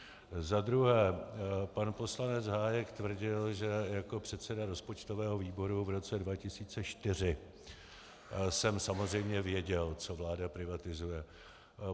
Za druhé pan poslanec Hájek tvrdil, že jako předseda rozpočtového výboru v roce 2004 jsem samozřejmě věděl, co vláda privatizuje.